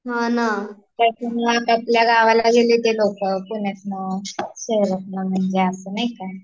हा ना त्याच्यामुळ आपापल्या गावाला गेली ते लोकं, पुण्यातन, शहरतन म्हणजे असं नाही का